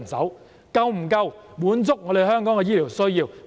是否足夠滿足香港的醫療需要呢？